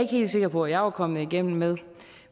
helt sikker på jeg var kommet igennem med